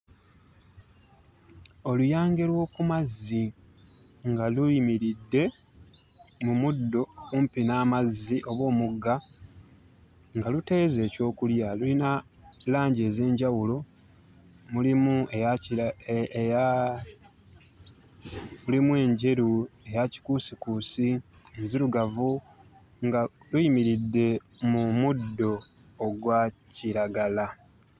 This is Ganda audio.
Oluyange lw'oku mazzi nga luyimiridde mu muddo kumpi n'amazzi oba omugga nga luteeze ekyokulya luyina langi ez'enjawulo mulimu eya kira e e eya mulimu enjeru, eya kikuusikuusi, enzirugavu nga luyimiridde mu muddo ogwa kiragala.